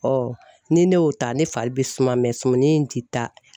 ni ne y'o ta ne fari bɛ suma in ti taa.